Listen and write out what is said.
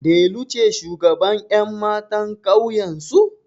Delu ce shugabar ƴan matan ƙauyensu?